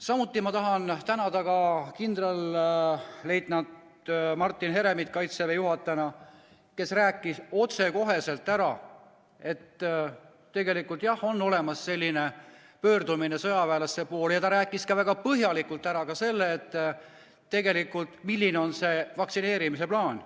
Samuti tahan tänada kindralleitnant Martin Heremit, Kaitseväe juhatajat, kes rääkis otsekoheselt, et jah, on tehtud selline pöördumine sõjaväelaste poole, ja ta rääkis väga põhjalikult ka sellest, milline on vaktsineerimise plaan.